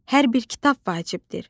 Hər bir kitab vacibdir.